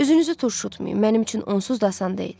Üzünüzü turşutmayın, mənim üçün onsuz da asan deyil.